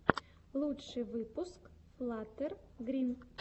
лучший выпуск флаттер грин